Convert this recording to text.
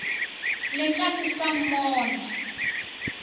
le ka se sa mmona